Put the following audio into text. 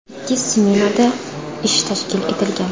Ikki smenada ish tashkil etilgan.